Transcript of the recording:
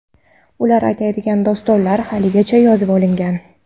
Ular aytadigan dostonlar haligacha yozib olinmagan.